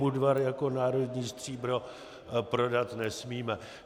Budvar jako národní stříbro prodat nesmíme!